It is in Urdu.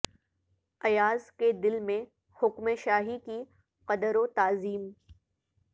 ایاز کے دل میں حکم شاہی کی قدر و تعظیم